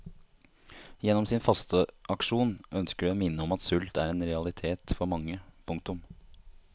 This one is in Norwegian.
Gjennom sin fasteaksjon ønsker de å minne om at sult er en realitet for mange. punktum